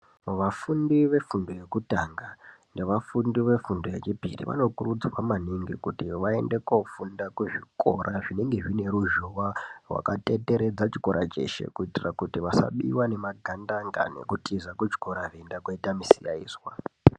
Vafundi vefundo yekutanga, nevafundi vefundo yechipiri, vanokurudzirwa maningi kuti vaende koofunda kuzvikora zvinenge zvine ruzhowa, wakatenderedza chikora cheshe, kuitira kuti vasabiwa ngemagandanga nekutiza vechiende kooita musikaizwa.